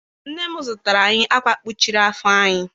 Nne m zụtara anyị akwa kpuchiri afọ anyị.